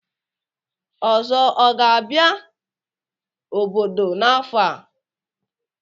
Ozo a ga-abia obodo n'afo a?